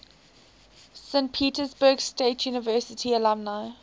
saint petersburg state university alumni